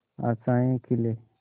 आशाएं खिले